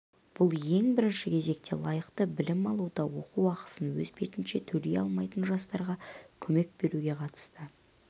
бұл ең бірінші кезекте лайықты білім алуда оқу ақысын өз бетінше төлей алмайтын жастарға көмек беруге қатысты